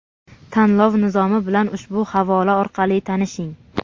Tanlov nizomi bilan ushbu havola orqali tanishing.